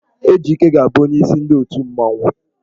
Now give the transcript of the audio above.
Ejike ga-abụ onyeisi ndị otù mmanwụ.